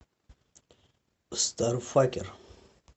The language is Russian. старфакер